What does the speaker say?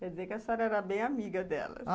Quer dizer que a senhora era bem amiga dela.